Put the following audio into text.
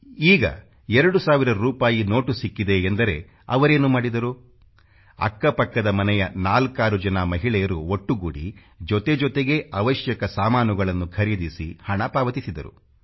ಈಗ 2 ಸಾವಿರ ರೂಪಾಯಿ ನೋಟು ಸಿಕ್ಕಿದೆ ಎಂದರೆ ಅವರೇನು ಮಾಡಿದರು ಅಕ್ಕಪಕ್ಕದ ಮನೆಯ ನಾಲ್ಕಾರು ಜನ ಮಹಿಳೆಯರು ಒಟ್ಟು ಗೂಡಿ ಜೊತೆ ಜೊತೆಗೇ ಅವಶ್ಯಕ ಸಾಮಾನುಗಳನ್ನು ಖರೀದಿಸಿ ಹಣ ಪಾವತಿಸಿದರು